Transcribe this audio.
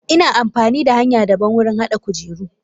Ina amfanida hanya daban wurin hada kujeru.